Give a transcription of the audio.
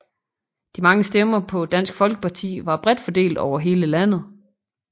De mange stemmer på Dansk Folkeparti var bredt fordelt over hele landet